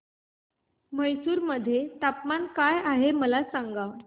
म्हैसूर मध्ये तापमान काय आहे मला सांगा